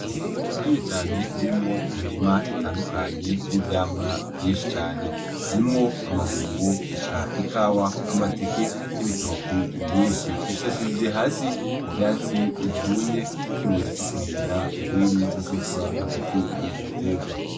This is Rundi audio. Itongo rinini cane ririmwo imirima itandukanye n'ivyamwa vyinshi cane; harimwo amabungo, eka ikawa, amateke, n'ibitoki vyinshi; Bishashirije hasi ivyatsi vyumye nk'ikimenyetso cokurinda ugwiri ruzokura hagati murivyo bitegwa.